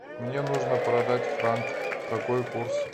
мне нужно продать франк какой курс